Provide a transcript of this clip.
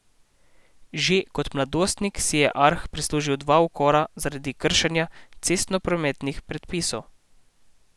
Že kot mladoletnik si je Arh prislužil dva ukora zaradi kršenja cestnoprometnih predpisov.